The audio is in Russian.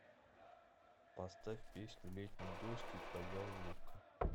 поставь песню летний дождь и твоя улыбка